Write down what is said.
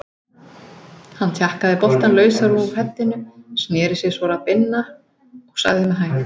Hann tjakkaði boltann lausan úr heddinu, sneri sér svo að Binna og sagði með hægð